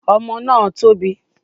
Ọmọ náà tóbi